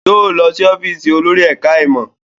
Yóò lọ sí ọ́fíìsì olórí ẹ̀ká ìmọ̀